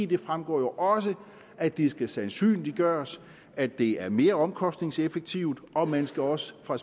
det fremgår jo også at det skal sandsynliggøres at det er mere omkostningseffektivt og man skal også fra